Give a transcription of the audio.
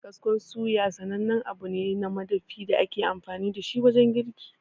Kaskon suya sanannen abu ne na madafi da ake amfani dashi wajen girki.